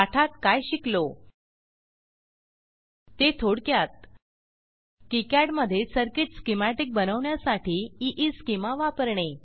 पाठात काय शिकलो ते थोडक्यात किकाड मधे सर्किट स्कीमॅटिक बनवण्यासाठी ईस्केमा वापरणे